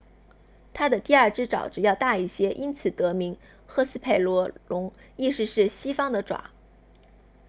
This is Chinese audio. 它的第二只爪子要大一些因此得名赫斯佩罗龙意思是西方的爪